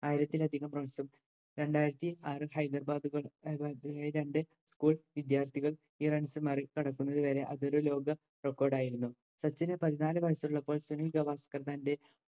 ആയിരത്തിലധികം runs ഉം രണ്ടാരത്തിആറ് ഹൈദർബാദ് വിദ്യാർഥികൾ ഈ runs മറികടക്കുന്നതോടെ അതൊരു ലോക record ആയിരുന്നു സച്ചിന് പതിനാല് വയസ്സുള്ളപ്പോൾ സുനിൽ ഗവാസ്‌ക്കർ തൻറെ